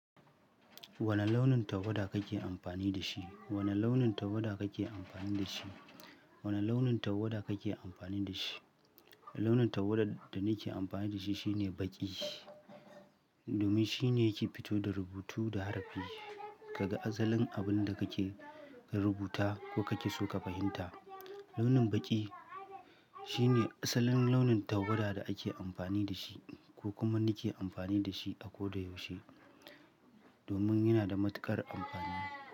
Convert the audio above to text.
Wane launin tawada kake amfani da shi? Wane launin tawada kake amfani da shi? Wane launin tawada kake amfani da shi? Launin tawada da nake amfani da shi shine baƙi. Domin shine yake fito da rubutu da harfi. Kaga asalin abin da kake rubuta ko kake so ka fahimta. Launin baƙi shine asalin launin tawada da ake amfani da shi ko kuma nake amfani da shi a koda yaushe. Domin yana da matuƙar amfani.